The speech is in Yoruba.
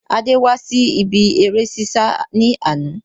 Adé wá sí ibi ère ṣíṣá ni àná